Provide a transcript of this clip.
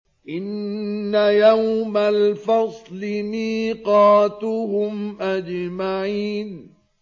إِنَّ يَوْمَ الْفَصْلِ مِيقَاتُهُمْ أَجْمَعِينَ